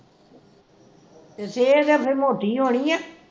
ਤੇ ਸਿਹਤ ਤੇ ਫਿਰ ਮੋਟੀ ਹੋਣੀ ਐ